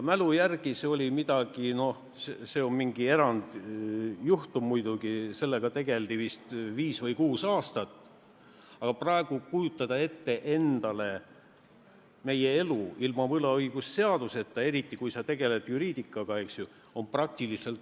Noh, see on mingi erandjuhtum muidugi, aga sellega tegeldi vist viis või kuus aastat, aga praegu on praktiliselt võimatu kujutada ette elu ilma võlaõigusseaduseta, eriti kui sa tegeled juriidikaga, eks ju.